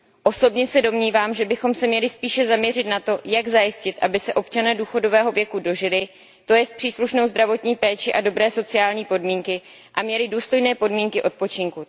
Osobně se domnívám, že bychom se měli spíše zaměřit na to, jak zajistit, aby se občané důchodového věku dožili, to je na příslušnou zdravotní péči a dobré sociální podmínky, a aby měli důstojné podmínky odpočinku.